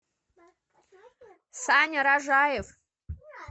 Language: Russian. саня рожаев